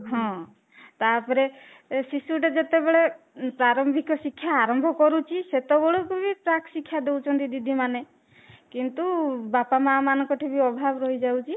ହଁ, ତାପରେ ଶିଶୁ ଟେ ଯେତେ ବେଳେ ପ୍ରାରମ୍ଭିକ ଶିକ୍ଷା ଆରମ୍ଭ କରୁଛି ସେତେବେଳେ ବି ପ୍ରାକ ଶିକ୍ଷା ଦଉଛନ୍ତି ଦିଦି ମାନେ କିନ୍ତୁ ବାପା ମା ମାନଙ୍କ ଠି ବି ଅଭାବ ରହିଯାଉଛି